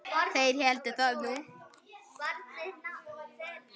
Þeir héldu það nú.